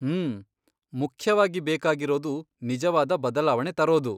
ಮ್ಮ್.. ಮುಖ್ಯವಾಗಿ ಬೇಕಾಗಿರೋದು ನಿಜವಾದ ಬದಲಾವಣೆ ತರೋದು.